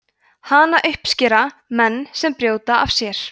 hana uppskera menn sem brjóta af sér